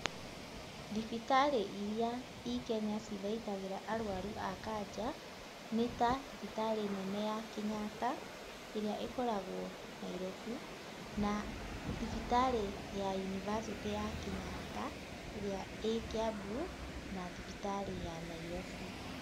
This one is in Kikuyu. Thibitarĩ iria i Kenya cithaitagĩra arwaru a kanja nĩ ta, thibitarĩ nene ya Kenyatta ĩrĩa ĩkoragwo Nairobi, na thibitarĩ University ya Kenyatta ĩrĩa ĩ Kiambu na thibitarĩ ya Nairobi.